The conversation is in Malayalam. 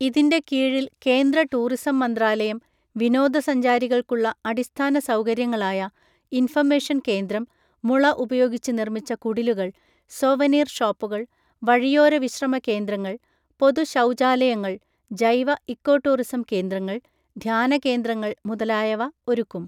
ഇതിൻ്റെ കീഴിൽ കേന്ദ്ര ടൂറിസം മന്ത്രാലയം വിനോദ സഞ്ചാരികൾക്കു ള്ള അടിസ്ഥാന സൗകര്യങ്ങളായ ഇൻഫർമേഷൻ കേന്ദ്രം, മുള ഉപയോഗിച്ച് നിർമ്മിച്ച കുടിലുകൾ , സൊവനീർ ഷോപ്പുകൾ , വഴിയോര വിശ്രമ കേന്ദ്രങ്ങൾ , പൊതുശൗചാലയങ്ങൾ , ജൈവ ഇക്കോടൂറിസം കേന്ദ്രങ്ങൾ , ധ്യാന കേന്ദ്രങ്ങൾ മുതലായവ ഒരുക്കും.